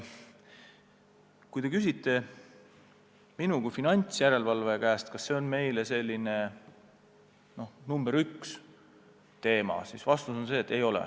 Kui te küsite minu kui finantsjärelevalvaja käest, kas see on meile selline nr 1 teema, siis vastus on, et ei ole.